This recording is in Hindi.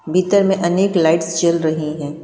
भीतर में अनेक लाइट्स जल रही हैं।